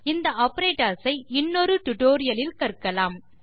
இந்த ஆப்பரேட்டர்ஸ் ஐ இன்னொரு டியூட்டோரியல் இல் கற்கலாம்